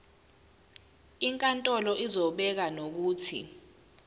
inkantolo izobeka nokuthi